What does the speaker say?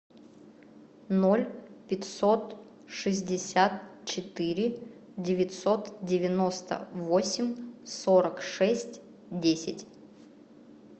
ноль пятьсот шестьдесят четыре девятьсот девяносто восемь сорок шесть десять